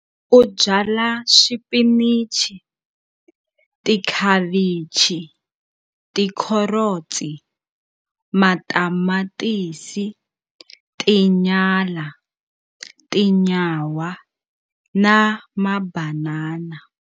U byala swipinichi, tikhavichi, tikherotsi, matamatisi, tinyala, tinyawa na mabanana.